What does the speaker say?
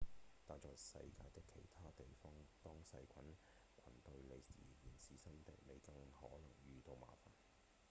但在世界的其他地方當細菌群對您而言是新的您更可能遇到麻煩